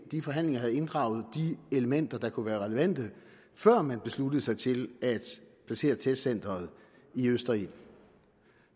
de forhandlinger havde inddraget de elementer der kunne være relevante før man besluttede sig til at placere testcenteret i østerild